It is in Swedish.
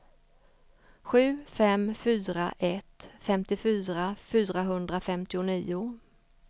sju fem fyra ett femtiofyra fyrahundrafemtionio